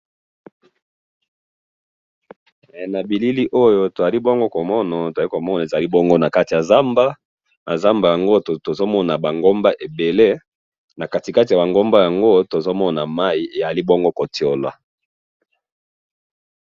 na bilili oyo tozali bongo komona, tozali komona ezali bongo nakati ya zamba, na zamba yango tozomona ba ngomba ebele, nakati kati yaba ngomba yango tozomona mayi ezali bongo ko tshola